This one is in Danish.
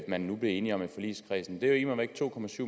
man nu blev enige om i forligskredsen det er immer væk to